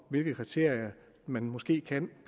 hvilke kriterier man måske kan